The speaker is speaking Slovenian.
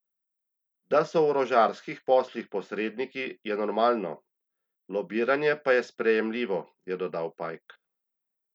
Da so v orožarskih poslih posredniki, je normalno, lobiranje pa je sprejemljivo, je dodal Pajk.